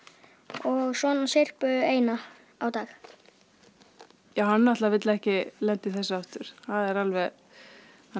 og svona syrpu eina á dag hann náttúrulega vill ekki lenda í þessu aftur þannig